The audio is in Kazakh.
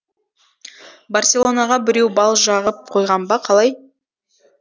барселонаға біреу бал жағып қойған ба қалай